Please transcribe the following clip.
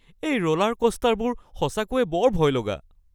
এই ৰ'লাৰক'ষ্টাৰবোৰ সঁচাকৈয়ে বৰ ভয়লগা